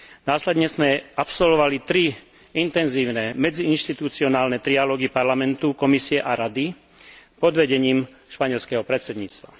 Následne sme absolvovali tri intenzívne medziinštituciálne trialógy Parlamentu, Komisie a Rady pod vedením španielskeho predsedníctva.